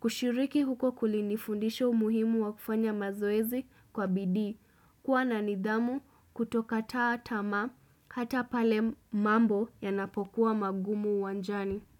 kushiriki huko kulinifundisha umuhimu wa kufanya mazoezi kwa bidii, kuwa na nidhamu kutokataa tamaa hata pale mambo yanapokuwa magumu uwanjani.